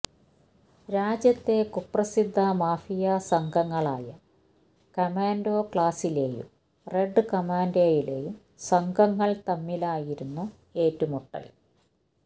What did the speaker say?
രാജ്യത്തെ കുപ്രസിദ്ധ മാഫിയ സംഘങ്ങളായ കമാൻഡോ ക്ലാസിലെയും റെഡ് കമാന്ഡിലെയും സംഘങ്ങൾ തമ്മിലായിരുന്നു ഏറ്റുമുട്ടൽ